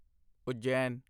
Ujjain